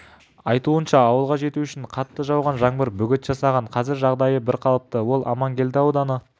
айтуынша ауылға жету үшін қатты жауған жаңбыр бөгет жасаған қазір жағдайы бірқалыпты ол аманкелді ауданы